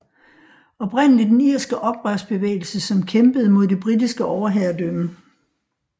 Oprindelig den irske oprørsbevægelse som kæmpede mod det britiske overherredømme